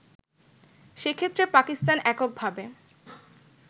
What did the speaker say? সেক্ষেত্রে পাকিস্তান এককভাবে